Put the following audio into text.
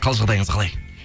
қал жағдайыңыз қалай